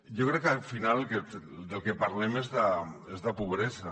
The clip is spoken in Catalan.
jo crec que al final del que parlem és de pobresa